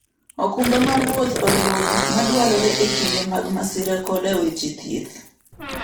okumba mar wuoth oriwo gik madwarore e kinde mag masira koda weche thieth.